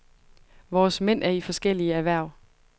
Vores mænd er i forskellige erhverv.